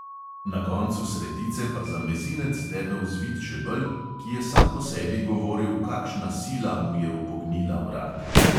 Na koncu sredice pa za mezinec debel zvit žebelj, ki je sam po sebi govoril, kakšna sila mu je upognila vrat.